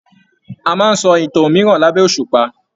A máa n sọ ìtàn òmìrán labẹ òṣùpá.